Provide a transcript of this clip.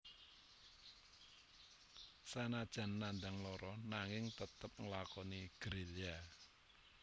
Sanajan nandhang lara nanging tetep nglakoni gerilya